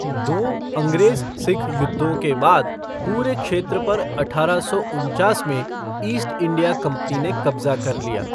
दो अंग्रेज़ सिख युद्धों के बाद पूरे क्षेत्र पर अठारह सौ उनचास में ईस्ट इंडिया कंपनी ने कब्ज़ा कर लिया।